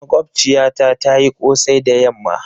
mogbaciyata tayi Kosai da yamma.